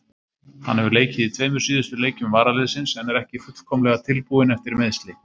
Hann hefur leikið í tveimur síðustu leikjum varaliðsins en er ekki fullkomlega tilbúinn eftir meiðsli.